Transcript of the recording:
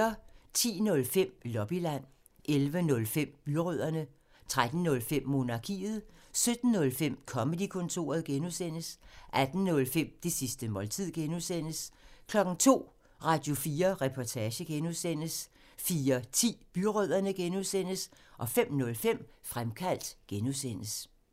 10:05: Lobbyland 11:05: Byrødderne 13:05: Monarkiet 17:05: Comedy-kontoret (G) 18:05: Det sidste måltid (G) 02:00: Radio4 Reportage (G) 04:10: Byrødderne (G) 05:05: Fremkaldt (G)